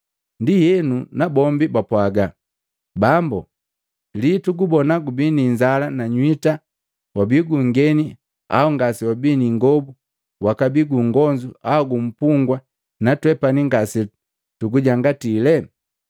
Ndienu nabombi bapwaga, ‘Bambu, lii tugubona gubi ni inzala na nywita, wabii gungeni au ngase wabii ni ingobu wakabii gungonzu au gumpugwa natwepani ngase tugujangatilee?’